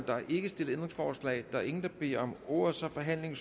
er ikke stillet ændringsforslag der er ingen der beder om ordet så forhandlingen